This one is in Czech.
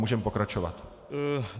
Můžeme pokračovat.